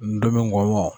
N donni kɔ